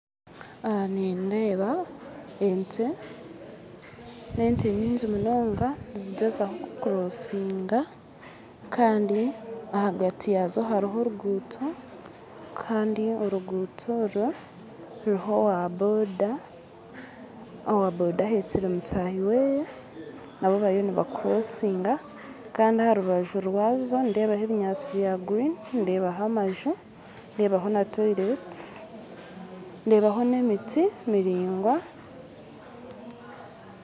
Aha nindeeba ente n'ente nyingi munonga nizigyezaho kukorosiga Kandi ahagati yazo haruho oruguuto kandi oruguuto orwo ruriho owaboda owaboda ahekyire mutaahi we nabo bariyo nibakorisiga kandi aharubaju rwabo nindebaho ebinyantsi bwagurini ndeebaho amaju ndeebaho na toyireeti ndebaho n'emiti miraingwa.